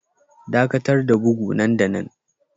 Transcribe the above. Dakatar da bugu nan da nan